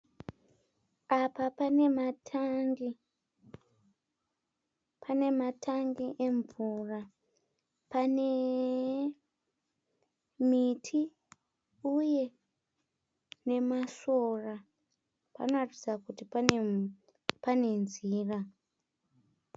Apa pane matangi, pane matangi emvura, pane miti uye nemasora. Panoratidza kuti pane nzira.